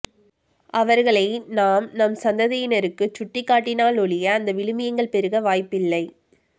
அவர்களை நாம் நம் சந்ததியினருக்குச் சுட்டிக்காட்டினாலொழிய அந்த விழுமியங்கள் பெருக வாய்ப்பில்லை